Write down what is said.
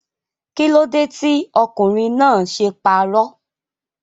Kílódé tí ọkùnrin náà ṣe parọ́?